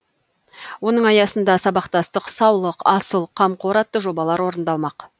оның аясында сабақтастық саулық асыл қамқор атты жобалар орындалмақ